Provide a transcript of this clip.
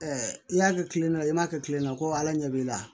i y'a kɛ kile na i m'a kɛ kilema ko ala ɲɛ b'i la